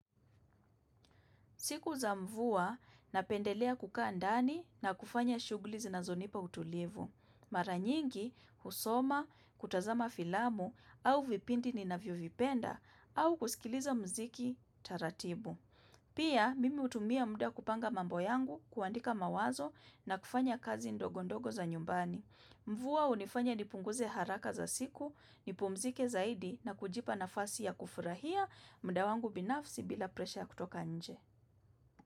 Siku za mvua napendelea kukaa ndani na kufanya shughuli zinazonipa utulivu. Mara nyingi husoma, hutazama filamu, au vipindi ninavyovipenda, au kusikiliza muziki taratibu. Pia, mimi hutumia muda kupanga mambo yangu, kuandika mawazo, na kufanya kazi ndogo ndogo za nyumbani. Mvua hunifanya nipunguze haraka za siku, nipumzike zaidi, na kujipa nafasi ya kufurahia muda wangu binafsi bila presha kutoka nje.